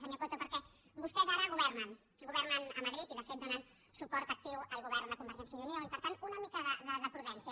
senyor coto perquè vostès ara governen governen a madrid i de fet donen suport actiu al govern de convergència i unió i per tant una mica de prudència